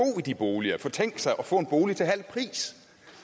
i de boliger for tænke sig at få en bolig til halv pris